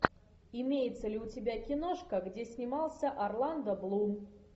имеется ли у тебя киношка где снимался орландо блум